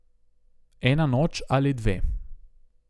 Ena noč ali dve.